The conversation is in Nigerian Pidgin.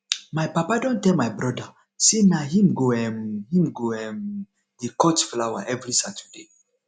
my papa don tell my broda sey na him go um him go um dey cut flower every saturday